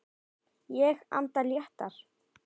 Ég anda léttar.